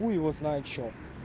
хуй его знает что